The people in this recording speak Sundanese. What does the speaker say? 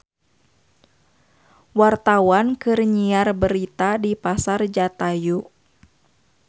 Wartawan keur nyiar berita di Pasar Jatayu